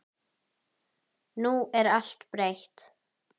Nú er allt breytt.